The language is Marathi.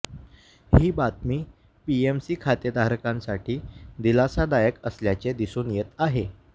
ही बातमी पीएमसी खातेधारकांसाठी दिलासादायक असल्याचे दिसून येत आहे